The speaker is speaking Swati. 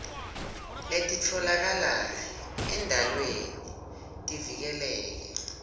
letitfolakala endalweni tivikeleke